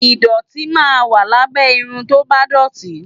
Ìdọ̀tí máa ń wà lábẹ́ irun tó bá dọ̀tí